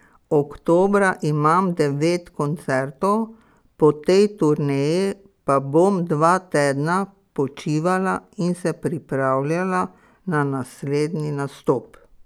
Oktobra imam devet koncertov, po tej turneji pa bom dva tedna počivala in se pripravljala na naslednji nastop.